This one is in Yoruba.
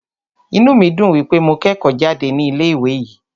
Inú mí dùn wípé mo kẹ́kọ̀ọ́ jáde ní ilé ìwé yìí.